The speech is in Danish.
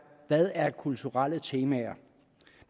hvad er kulturelle temaer